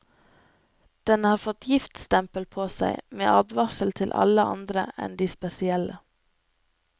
Den har fått giftstempel på seg med advarsler til alle andre enn de spesielle.